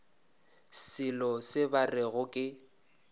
selo se ba rego ke